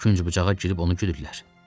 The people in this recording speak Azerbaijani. Künc bucağa girib onu güdülər.